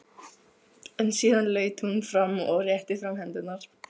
En síðan laut hún fram og rétti fram hendurnar.